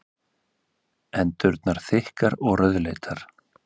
Hendurnar þykkar og rauðleitar.